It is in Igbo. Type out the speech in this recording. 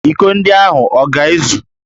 Íkó ndị ahụ ọ ga-ezu?